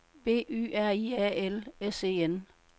B Y R I A L S E N